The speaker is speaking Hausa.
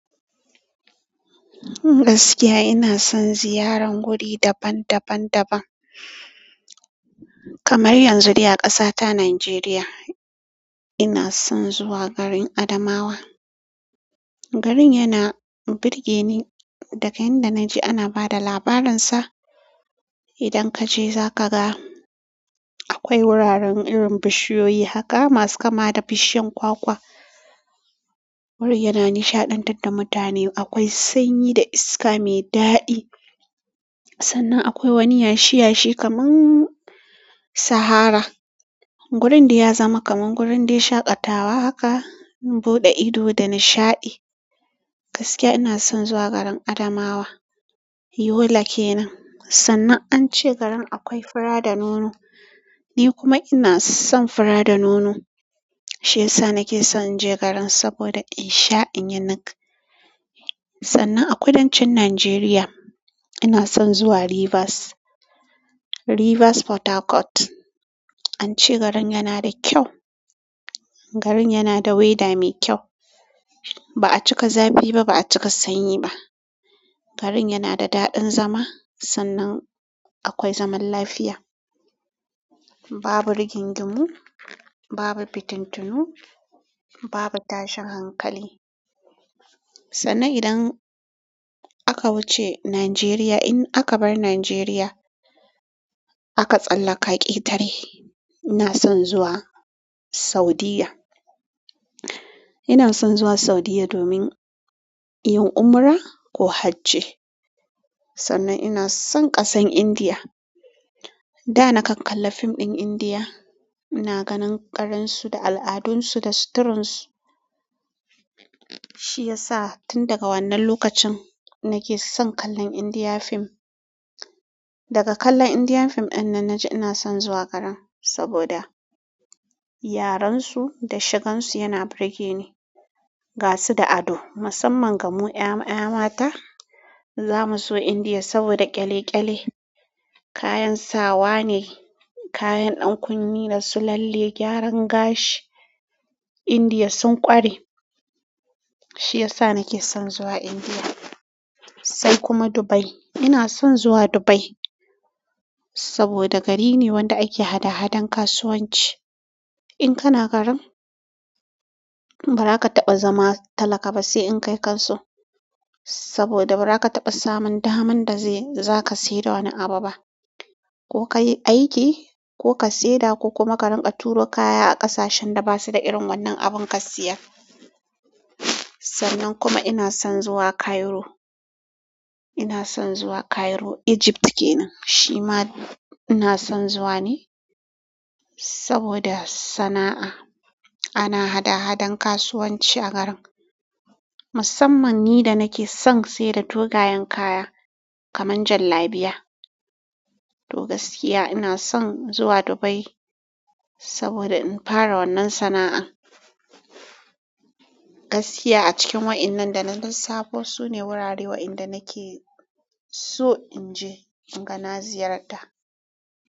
Gaskiya ina son ziyaran wuri daban daban daban. Kamar yanzu ne a ƙasata Nijeriya ina son zuwa garin Adamawa. Garin yana burge ni daga inda naji ana bada labarinsa. Idan kaje zaka ga akwai wuraren irin bishiyoyi haka masu kama da bishiyan kwakwa. Wuri yana nishaɗantar da mutane. Akwai sanyi da iska mai daɗi. Sannan akwai wani yashi yashi kamar sahara. Gurin dai ya zama kamar gurin dai shaƙatawa haka, buɗe ido da nishaɗi. Gaskiya ina son zuwa garin Adamawa. Yola kenan. Sannan an ce garin akwai fura da nono. Ni kuma ina son fura da nono. Shi ya sa nake son in je garin saboda in sha in yi nak. Sannan a kudancin Nijeriya ina son zuwa Rivers. Rivers Port Harcourt. An ce garin yana da kyau. Garin yana da weather mai kyau. Ba a cika zafi ba, ba a cika sanyi ba. Garin yana da daɗin zama sannan akwai zaman lafiya. Babu rigingimu babu fituntunu babu tashi hankali sannan idan aka wuce Nijeriya in aka bar najeriya aka tsallaka ƙetare ina son zuwa Saudiya. Ina son zuwa Saudiya domin yin umra ko hajji. Sannan ina son ƙasan Indiya. Da na kalla fim ɗin Indiya ina ganin garin su da al'adunsu da suturan su. Shi ya sa tun daga wannan lokacin nake son kallon Indiya fim. Daga kallon Indiya fim ɗin nan na ji ina son zuwa garin saboda yaren su da shigan su yana burge ni. Ga su da ado. Musamman ga mu 'ya'ya mata za mu zo Indiya saboda ƙyale-ƙyale. Kayan sawa ne, kayan ɗan kunne da su lalle, gyaran gashi Indiya sun ƙware. Shi ya sa nake son zuwa Indiya. Sai kuma Dubai. Ina son zuwa Dubai saboda gari ne wanda ake hada-hadan kasuwanci. In kana garin baraka taɓa zama talaka b, sai dai inkai ka so saboda bara ka taɓa samun daman daze zaka sayar da wani abu ba. Ko ka yi aiki ko ka sayar da ko kuma ka rinƙa turo kaya a ƙasashen da basu da irin wannan abun ka siya. Sannan kuma ina son zuwa Cairo. Ina son zuwa Cairo, Egypt kenan. Shi ma ina son zuwa ne saboda sana'a. Ana hada-hadan kasuwanci a garin to gaskiya ina son zuwa Dubai saboda in fara wannan sana'a. Gaskiya a cikin wa'innan da na lissafo su ne wurare wa inda nake so in je inga na ziyarta.